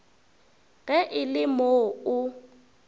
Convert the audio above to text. ge e le moo o